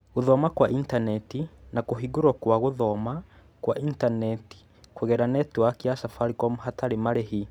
Guthooma kwa intaneti, na kĩhũngĩro kia guthooma kwa intaneti kũgerera netiwaki ya Safaricom hatarĩ marĩhi.